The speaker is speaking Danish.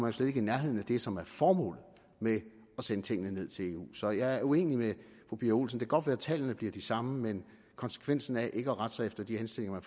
jo slet ikke i nærheden af det som er formålet med at sende tingene ned til eu så jeg er uenig med fru pia olsen kan godt være tallene bliver de samme men konsekvensen af ikke at rette sig efter de henstillinger man